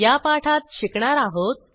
या पाठात शिकणार आहोत